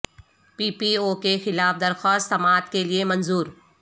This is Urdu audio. پی پی او کے خلاف درخواست سماعت کے لیے منظور